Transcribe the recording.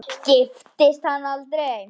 Hann giftist aldrei.